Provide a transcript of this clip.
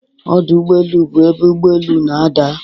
Ọdụ ụgbọ elu bụ ebe ụgbọ elu na-ada.